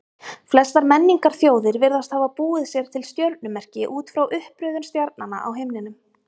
Flestar menningarþjóðir virðast hafa búið sér til stjörnumerki út frá uppröðun stjarnanna á himninum.